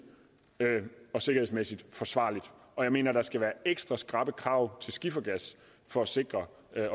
og sikkerhedsmæssigt forsvarligt og jeg mener der skal være ekstra skrappe krav til skifergas for at sikre